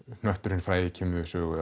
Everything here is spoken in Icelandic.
hnötturinn frægi kemur við sögu